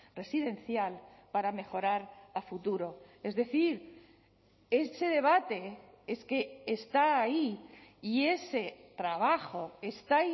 residencial para mejorar a futuro es decir ese debate es que está ahí y ese trabajo está